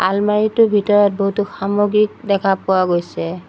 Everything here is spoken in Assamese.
আলমাৰিটোৰ ভিতৰত বহুতো সামগ্ৰীক দেখা পোৱা গৈছে।